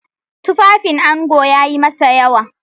Tufafin ango yayi masa yawa.